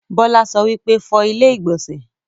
Bọ́lá sọ wípé, 'Fọ ilẹ́ ìgbọ̀nsẹ̀'